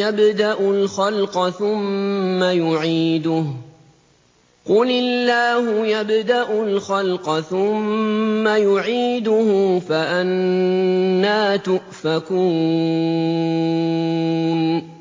يَبْدَأُ الْخَلْقَ ثُمَّ يُعِيدُهُ ۚ قُلِ اللَّهُ يَبْدَأُ الْخَلْقَ ثُمَّ يُعِيدُهُ ۖ فَأَنَّىٰ تُؤْفَكُونَ